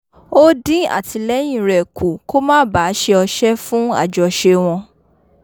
ó dín àtìlẹ́yìn rẹ̀ kù kó má bàa ṣe ọṣẹ́ fún àjọṣe wọn